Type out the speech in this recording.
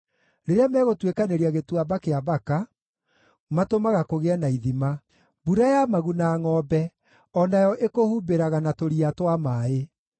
Rĩrĩa megũtuĩkanĩria Gĩtuamba kĩa Baka, matũmaga kũgĩe na ithima; mbura ya maguna-ngʼombe o nayo ĩkũhumbĩraga na tũria twa maaĩ.